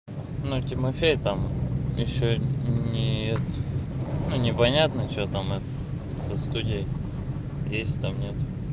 но тимофей там ещё не это ну непонятно что там это со студией есть там нет